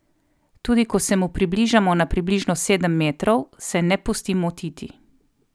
Tudi ko se mu približamo na približno sedem metrov, se ne pusti motiti.